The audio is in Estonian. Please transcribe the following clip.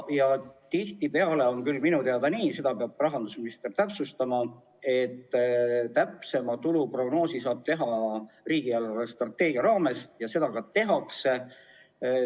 Tihtipeale on minu teada nii – seda peab rahandusminister täpsustama –, et täpsema tuluprognoosi saab teha riigi eelarvestrateegia raames ja seda ka tehakse.